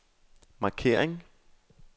markering